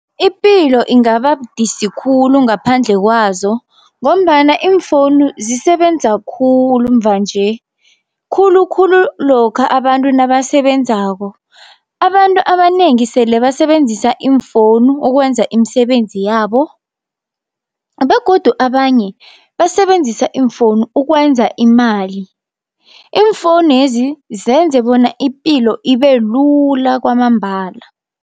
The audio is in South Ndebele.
Ipilo ingaba budisi khulu ngaphandle kwazo ngombana iimfowunu zisebenza khulu mva nje, khulukhulu lokha abantu nabasebenzako. Abantu abanengi sele basebenzisa iimfowunu ukwenza imisebenzi yabo, begodu abanye basebenzisa iimfowunu ukwenza imali. Iimfowunezi zenze bona ipilo ibelula kwamambala.